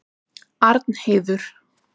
Arnheiður